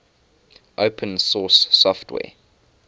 open source software